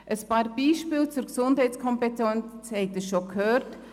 Ein paar Beispiele zur Gesundheitskompetenz haben Sie schon gehört.